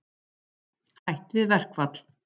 Hætt við verkfall